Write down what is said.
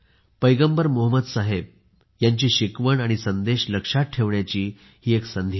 पैगंबर मोहम्मद यांची शिकवण आणि संदेश लक्षात ठेवण्याची ही एक संधी आहे